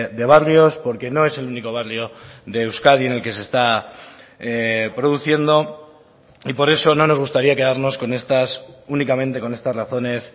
de barrios porque no es el único barrio de euskadi en el que se está produciendo y por eso no nos gustaría quedarnos con estas únicamente con estas razones